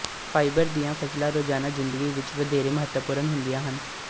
fibre ਦੀਆਂ ਫਸਲਾਂ ਰੋਜ਼ਾਨਾ ਜ਼ਿੰਦਗੀ ਵਿੱਚ ਵਧੇਰੇ ਮਹੱਤਵਪੂਰਣ ਹੁੰਦੀਆਂ ਹਨ